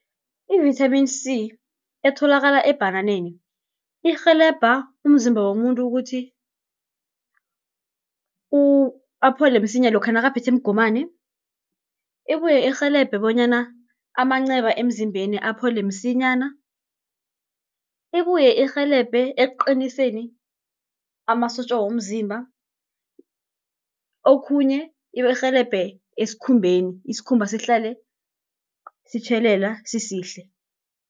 I-vithamini C, etholakala ebhananeni, irhelebha umzimba womuntu ukuthi aphole msinya lokha nakaphethwe mgomani. Ibuye irhelebhe bonyana amanceba emzimbeni aphole msinyana, ibuye irhelebhe ekuqiniseni amasotja womzimba. Okhunye irhelebhe esikhumbeni, isikhumba sihlale sitjhelela sisihle.